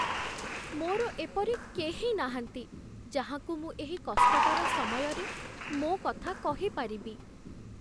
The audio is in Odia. ମୋର ଏପରି କେହି ନାହାନ୍ତି ଯାହାଙ୍କୁ ମୁଁ ଏହି କଷ୍ଟକର ସମୟରେ ମୋ କଥା କହିପାରିବି।